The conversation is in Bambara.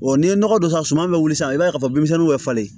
n'i ye nɔgɔ don a suma bɛ wuli sisan i b'a ye k'a fɔ denmisɛnninw bɛ falen